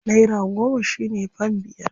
Naira goma shi ne fam biyar.